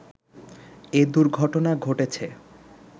এ দুর্ঘটনা ঘটেছে